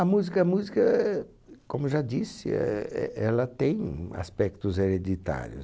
A música a música, eh como já disse, éh éh ela tem aspectos hereditários.